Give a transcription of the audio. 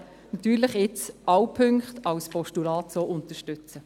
Deshalb werden wir nun natürlich alle Punkte als Postulat unterstützen.